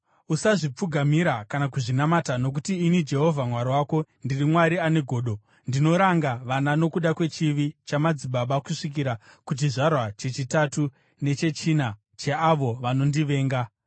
Usazvipfugamira kana kuzvinamata, nokuti ini Jehovha Mwari wako, ndiri Mwari ane godo, ndinoranga vana nokuda kwechivi chamadzibaba kusvikira kuchizvarwa chechitatu nechechina cheavo vanondivenga,